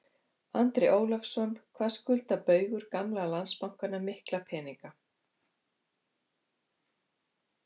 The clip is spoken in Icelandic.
Andri Ólafsson: Hvað skuldar Baugur gamla Landsbankanum mikla peninga?